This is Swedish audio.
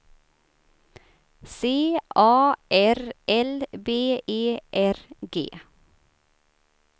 C A R L B E R G